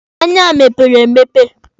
Anya m mepere emepe.